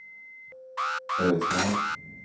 Ödsmål